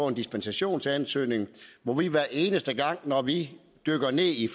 en dispensationsansøgning hvor vi hver eneste gang når vi dykker ned i